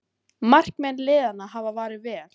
Markmenn liðanna hafa varið vel